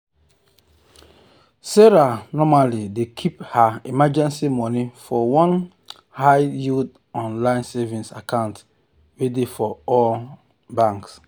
sarah normally dey keep her emergency money for one high-yield online savings account wey dey for ally bank.